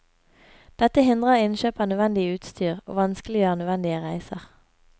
Dette hindrer innkjøp av nødvendig utstyr og vanskeliggjør nødvendige reiser.